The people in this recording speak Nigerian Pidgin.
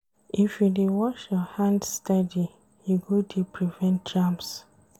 If you dey wash your hands steady, you go dey prevent germs.